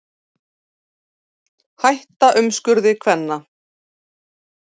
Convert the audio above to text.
Hætta umskurði kvenna